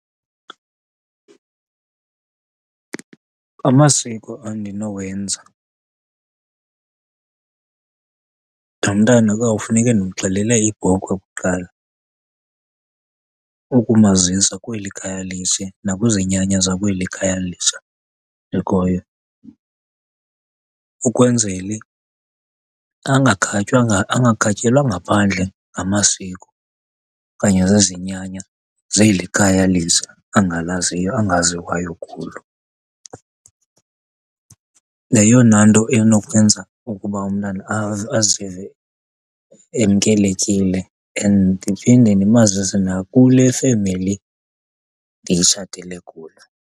Amasiko endinowenza nomntana kuyawufuneke ndimxhelele ibhokhwe kuqala ukumazisa kweli khaya litsha nakwizinyanya zakweli khaya litsha likhoyo ukwenzele angakhatyelwa ngaphandle ngamasiko okanye zizinyanya zeli khaya litsha angaziwayo kulo. Yeyona nto enokwenza ukuba umntana azive emkelekile and ndiphinde ndimazise nakule femeli nditshatele kuyo.